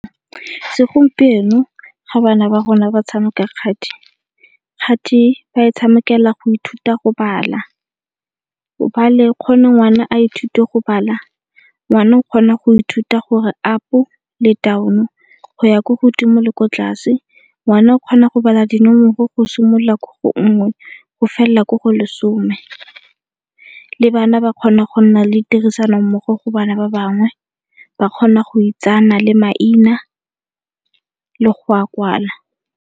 Segompieno ga bana ba rona ba tshameka kgati gatwe ba e tshamekela go ithuta go bala. hobane gore ngwana a ithute go bala ngwana o kgona go ithuta gore up le down-o, go ya ko godimo le ko tlase. Ngwana o kgona go bala dinomoro go simolola ko go nngwe go felela ko go lesome, le bana ba kgona go nna le tirisano mmogo go bana ba bangwe ba kgona go itsane le maina le go a kwala.